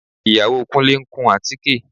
Ìyàwó Kúnlé ń kun àtíké